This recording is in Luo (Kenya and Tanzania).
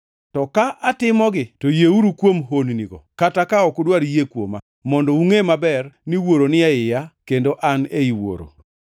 To ka atimogi, to yieuru kuom honnigo, kata ka an ok udwar yie kuoma, mondo ungʼe maber ni Wuoro ni e iya kendo an ei Wuoro.”